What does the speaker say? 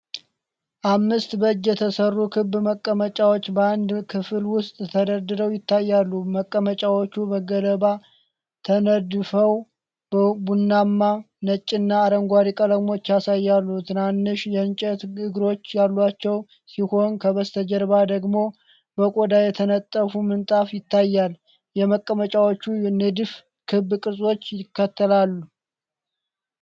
አምስት በእጅ የተሠሩ ክብ መቀመጫዎች በአንድ ክፍል ውስጥ ተደርድረው ይታያሉ። መቀመጫዎቹ በገለባ ተነድፈው ቡናማ፣ ነጭና አረንጓዴ ቀለሞችን ያሳያሉ። ትናንሽ የእንጨት እግሮች ያሏቸው ሲሆን ከበስተጀርባው ደግሞ በቆዳ የተነጠፈ ምንጣፍ ይታያል። የመቀመጫዎቹ ንድፍ ክብ ቅርጾችን ይከተላል።